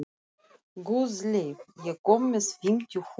Guðleif, ég kom með fimmtíu húfur!